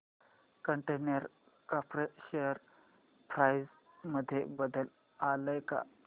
container corp share price मध्ये बदल आलाय का